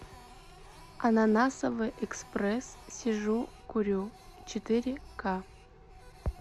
ананасовый экспресс сижу курю четыре ка